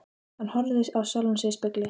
Hann horfði á sjálfan sig í spegli.